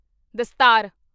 ਦਸਤਾਰ